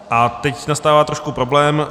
A teď nastává trošku problém.